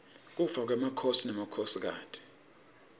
kufa kwemakhosi nemakhosikati